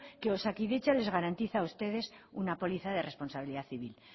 que osakidetza les garantiza a ustedes una póliza de responsabilidad civil